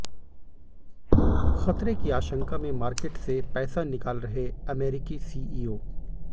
खतरे की आशंका में मार्केट से पैसा निकाल रहे अमेरिकी सीईओ